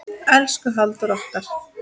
Elsku Halldór okkar.